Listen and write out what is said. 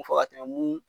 Fɔ ka tɛmɛ mun